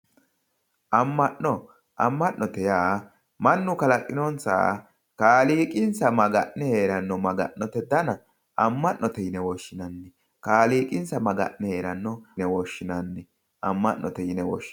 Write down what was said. amma'no amma'note yaa mannu kalaqinosaha kaliiqinsa maga'ne heeranno maga'note dana amma'note yine woshshinanni kaaliqinsa maga'ne heeranno yine woshshinanni amma'note yine woshinanni.